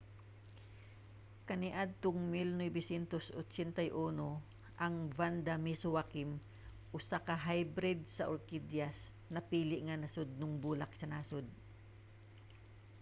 kaniadtong 1981 ang vanda miss joaquim usa ka hybrid sa orkidyas napili nga nasudnong bulak sa nasod